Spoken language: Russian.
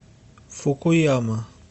фукуяма